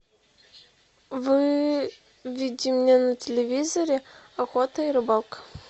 выведи мне на телевизоре охота и рыбалка